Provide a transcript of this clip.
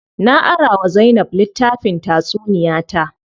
Na ara wa Zainab litttafin tatsuniya ta.